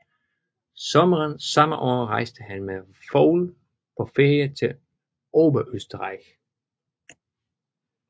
Sommeren samme år rejste han med Vogl på ferie til Oberösterreich